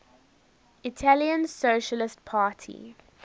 italian socialist party